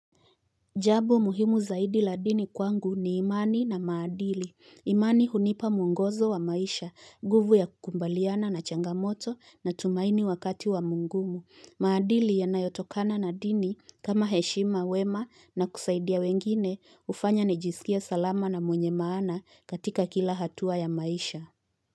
Jambo muhimu zaidi la dini kwangu ni imani na maadili, imani hunipa mwongozo wa maisha, nguvu ya kukubaliana na changamoto na tumaini wakati wa magumu, maadili yanayotokana na dini kama heshima wema na kusaidia wengine hufanya nijisikie salama na mwenye maana katika kila hatua ya maisha.